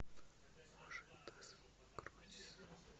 можи дас крузис